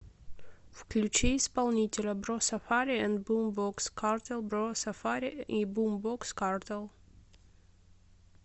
включи исполнителя бро сафари энд бумбокс картел бро сафари и бумбокс картел